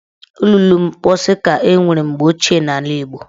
Olulu mposi ka enwere mgbe ochie n'ala Igbo